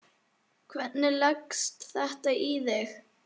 Hvernig leggst þetta í þig?